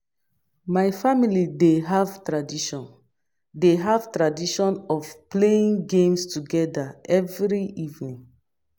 My family dey have tradition dey have tradition of playing games together every evening.